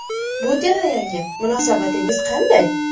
Bu jarayonga munosabatingiz qanday?